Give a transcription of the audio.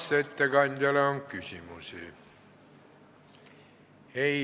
Kas ettekandjale on küsimusi?